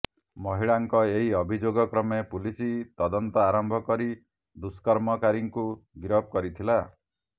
ମହିଳାଙ୍କ ଏହି ଅଭିଯୋଗ କ୍ରମେ ପୁଲିସ ତଦନ୍ତ ଆରମ୍ଭ କରି ଦୁଷ୍କର୍ମକାରୀଙ୍କୁ ଗିରଫ କରିଥିଲା